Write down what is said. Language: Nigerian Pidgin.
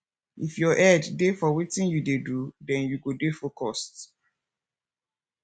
if your head dey for wetin you dey do den you go dey focused